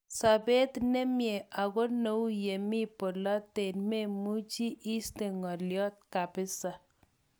"Sobet nemie ako neu yemi bolotet memuche iste ngolyot kabisa.